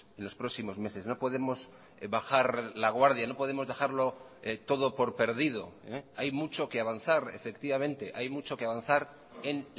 en los próximos meses no podemos bajar la guardia no podemos dejarlo todo por perdido hay mucho que avanzar efectivamente hay mucho que avanzar en